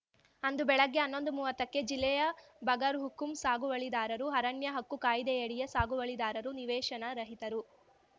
ಅಂದು ಬೆಳಗ್ಗೆ ಹನ್ನೊಂದುಮುವತ್ತಕ್ಕೆ ಜಿಲ್ಲೆಯ ಬಗರ್‌ಹುಕುಂ ಸಾಗುವಳಿದಾರರು ಅರಣ್ಯ ಹಕ್ಕು ಕಾಯಿದೆಯಡಿಯ ಸಾಗುವಳಿದಾರರು ನಿವೇಶನ ರಹಿತರು